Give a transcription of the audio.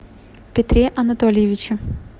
петре анатольевиче